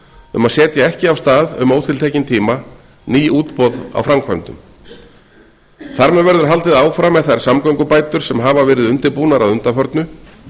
um að setja ekki af stað um ótiltekinn tíma ný útboð á framkvæmdum þar með verður haldið áfram með þær samgöngubætur sem hafa verið undirbúnar að undanförnu